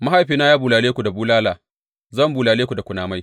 Mahaifina ya bulale ku da bulala; zan bulale ku da kunamai.